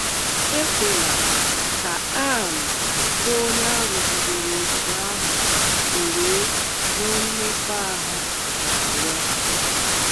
“ Ekwela, ” ka Anne, bụ́ onye a rụgidere otú ahụ o wee nwee mmekọahụ, na - arịọ.